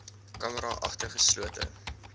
camera agter geslote